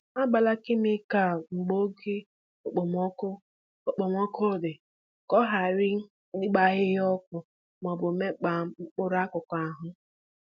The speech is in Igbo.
Agbala kemịkal mgbe oke okpomọkụ okpomọkụ dị ka ọ hara ịgba ahịhịa ọkụ maọbụ mekpaa mkpụrụ akụkụ ahụ